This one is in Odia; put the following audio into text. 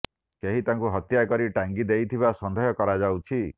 କେହି ତାଙ୍କୁ ହତ୍ୟା କରି ଟାଙ୍ଗି ଦେଇଥିବା ସନ୍ଦେହ କରାଯାଉଛି